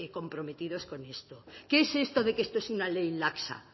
comprometidos con esto qué es esto de que esto es una ley laxa